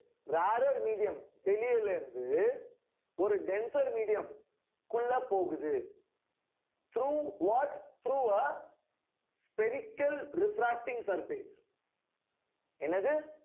rarer medium ல இருந்து ஒரு denser medium க்குள்ள போகுது through what through ஆ spherical refracting surface என்னது